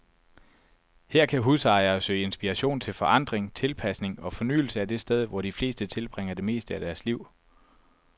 Her kan husejere søge inspiration til forandring, tilpasning og fornyelse af det sted, hvor de fleste tilbringer det meste af deres liv.